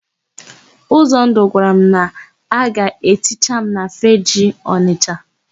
Ụzọndụ gwara m na a ga-eticha m na Fegee Ọnịsha.